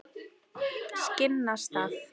Skinnastað